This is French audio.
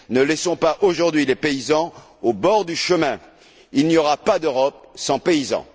Ne laissons pas, aujourd'hui, les paysans au bord du chemin. Il n'y aura pas d'Europe sans paysans!